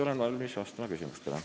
Olen valmis vastama küsimustele.